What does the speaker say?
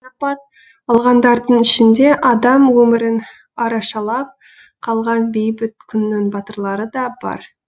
марапат алғандардың ішінде адам өмірін арашалап қалған бейбіт күннің батырлары да бар